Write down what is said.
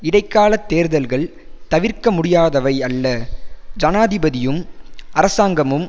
இடைக்கால தேர்தல்கள் தவிர்க்க முடியாதவை அல்ல ஜனாதிபதியும் அரசாங்கமும்